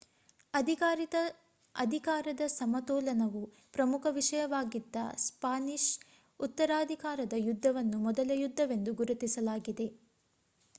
ಅಧಿಕಾರದ ಸಮತೋಲನವು ಪ್ರಮುಖ ವಿಷಯವಾಗಿದ್ದ ಸ್ಪಾನಿಷ್ ಉತ್ತರಾಧಿಕಾರದ ಯುದ್ಧವನ್ನು ಮೊದಲ ಯುದ್ಧವೆಂದು ಗುರುತಿಸಲಾಗಿದೆ